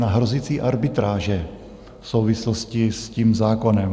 Na hrozící arbitráže v souvislosti s tím zákonem.